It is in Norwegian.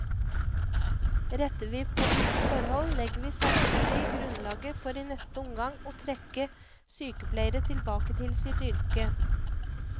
Retter vi på disse forhold, legger vi samtidig grunnlaget for i neste omgang å trekke sykepleiere tilbake til sitt yrke.